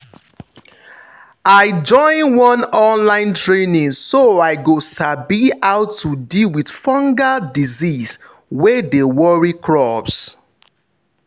i join one online training so i go sabi how to deal with fungal disease wey dey worry crops.